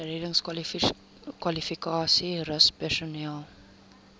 reddingskwalifikasies rus personeel